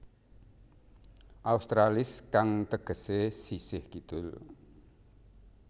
Australis kang tegesé sisih kidul